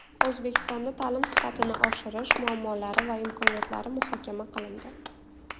O‘zbekistonda ta’lim sifatini oshirish muammolari va imkoniyatlari muhokama qilindi.